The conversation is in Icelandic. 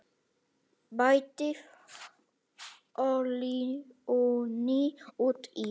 Bætið olíunni út í.